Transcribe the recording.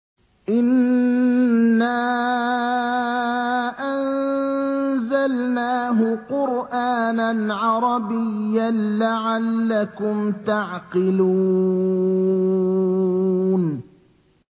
إِنَّا أَنزَلْنَاهُ قُرْآنًا عَرَبِيًّا لَّعَلَّكُمْ تَعْقِلُونَ